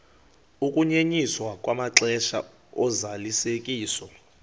ukunyenyiswa kwamaxesha ozalisekiso